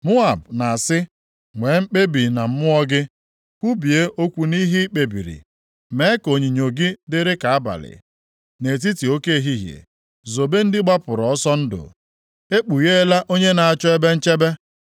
Moab na-asị, “Nwee mkpebi na mmụọ gị,” “Kwubie okwu nʼihe ị kpebiri. Mee ka onyinyo gị dịrị ka abalị nʼetiti oke ehihie. Zobe ndị gbapụrụ ọsọ ndụ, ekpugheela onye na-achọ ebe nchebe.